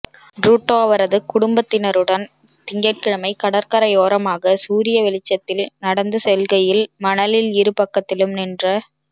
Trudeau அவரது குடும்பத்தினருடன் திங்கள்கிழமை கடற்கரையோரமாக சூரிய வெளிச்சத்தில் நடந்து செல்கையில் மணலில் இரு பக்கத்திலும் நின்ற